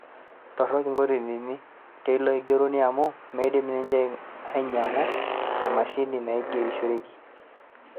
Torok intokitin teilo aigerroni amau meidim ninye ainyang'u emashini naigerishoreki